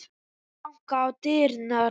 Aftur var bankað á dyrnar.